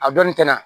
A dɔnnin tɛ na